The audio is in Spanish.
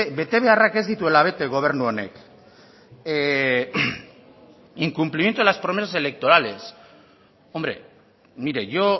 betebeharrak ez dituela bete gobernu honek incumplimiento de las promesas electorales hombre mire yo